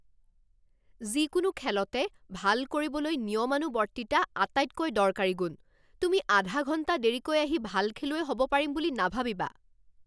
যিকোনো খেলতে ভাল কৰিবলৈ নিয়মানুৱৰ্তিতা আটাইতকৈ দৰকাৰী গুণ। তুমি আধা ঘণ্টা দেৰীকৈ আহি ভাল খেলুৱৈ হ'ব পাৰিম বুলি নাভাবিবা।